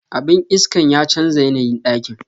Abin iskan ya chanza yanayin dakin.